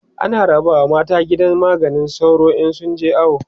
ana rabawa mata gidan maganin sauro in sun je awo